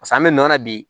Pasa an bɛ nɔ na bi